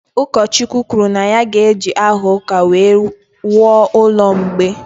Ụkọchukwu kwuru na ya ga-eji aha ụka wuo ụlọ mgbei